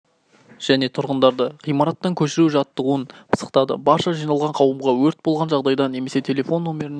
және тұрғындарды ғимараттан көшіру жаттығуын пысықтады барша жиналған қауымға өрт болған жағдайда немесе телефон нөміріне